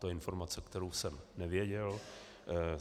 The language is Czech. To je informace, kterou jsem nevěděl.